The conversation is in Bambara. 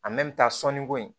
sɔnni ko in